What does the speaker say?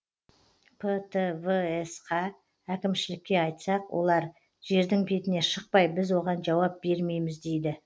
птвс қа әкімшілікке айтсақ олар жердің бетіне шықпай біз оған жауап бермейміз дейді